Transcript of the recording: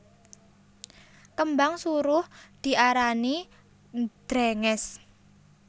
Kembang suruh diarani drèngès